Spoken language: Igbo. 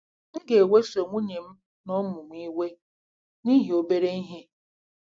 M ga-eweso nwunye m na ụmụ m iwe n'ihi obere ihe.